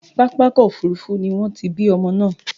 Pápákọ̀ Òfurufú ni wọ́n ti bí ọmọ náà.